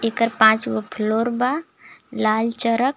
एकर पांच गो फ्लोर बा लाल चरक.